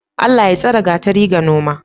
Allah Ya tsare gatari ga noma?